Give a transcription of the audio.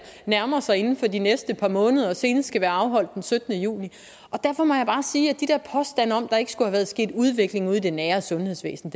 nærmer sig inden for de næste par måneder og senest skal være afholdt den syttende juni derfor må jeg bare sige til de der påstande om at der ikke skulle være sket en udvikling ude i det nære sundhedsvæsen